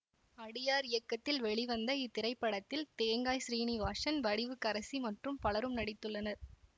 அடியார் இயக்கத்தில் வெளிவந்த இத்திரைப்படத்தில் தேங்காய் ஸ்ரீநிவாசன் வடிவுக்கரசி மற்றும் பலரும் நடித்துள்ளனர்